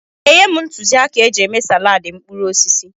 Ị ga-enye m ntụzịaka eji eme salaadị mkpụrụ osisi?